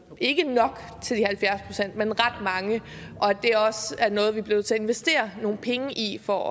ikke nok til de halvfjerds pct men ret mange og at det også er noget vi bliver nødt til at investere nogle penge i for